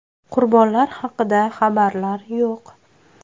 Qurbonlar haqida xabarlar yo‘q.